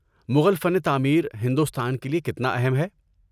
مغل فن تعمیر ہندوستان کے لیے کتنا اہم ہے؟